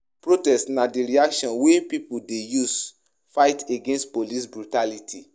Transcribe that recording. Protests na di reaction wey pipo dey use fight against police brutality